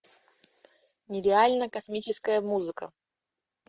нереально космическая музыка